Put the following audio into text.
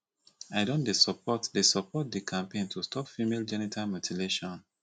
i don dey support dey support di campaign to stop female genital mutilation